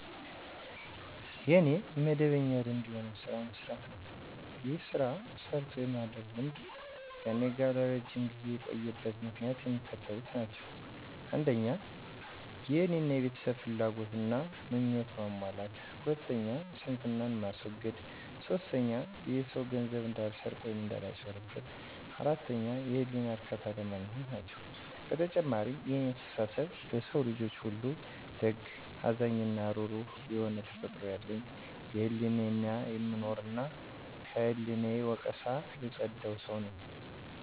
የኔ መደበኛ ልምድ የሆነው ሥራ መሥራት ነው። ይህ ሥራ ሰርቶ የማደር ልምድ ከእኔ ጋር ለረጅም ጊዜ የቆየበት ምክንያቶች የሚከተሉት ናቸዉ። 1. የእኔን እና የቤተሰቦቸን ፍላጎት እና ምኞት ለማሟላት 2. ስንፍናን ለማስወገድ 3. የሰዉ ገንዘብ እንዳልሰርቅ ወይም እንዳላጭበረብር 4. የህሌና እርካታ ለማግኘት ናቸው። በተጨማሪም የእኔ አስተሳሰብ ለሰዉ ልጆች ሁሉ ደግ፣ አዛኝ እና እሩሩ የሆነ ተፈጥሮ ያለኝ፤ ለሕሌናየ የምኖር እና ከሕሌና ወቀሳ የፀደው ሰው ነኝ።